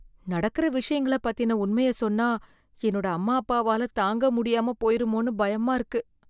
நடக்குற விஷயங்கள பத்தின உண்மைய சொன்னா என்னோட அம்மா அப்பாவால தாங்க முடியாம போயிருமோனு பயமா இருக்கு.